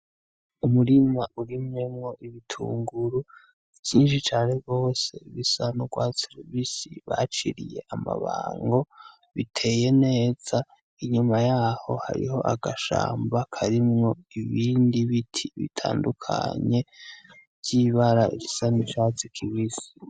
Umurima urimwo ibitunguru vyinshi cane gose, bisa n'urwatirubisi baciriye amabanu, biteye neza. Inyuma yaho hariho agashamba karimwo ibindi biti bitandukanye, ry'ibara risa n'icatsi kibisi.